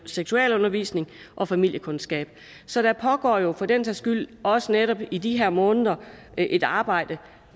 seksualundervisning og familiekundskab så der pågår jo for den sags skyld også netop i de her måneder et arbejde